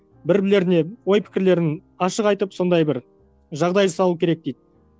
бір бірлеріне ой пікірлерін ашық айтып сондай бір жағдай жасалуы керек дейді